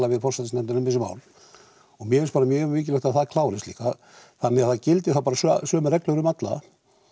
við forsætisnefndina um þessi mál og mér finnst bara mjög mikilvægt að það klárist líka þannig að það gildi þá bara sömu reglur um alla